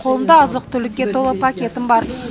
қолымда азық түлікке толы пакетім бар